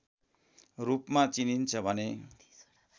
रूपमा चिनिन्छ भने